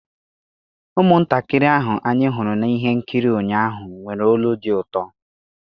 Ụmụntakịrị ahụ anyị hụrụ na ihe nkiri ụnyaahụ nwere olu dị ụtọ.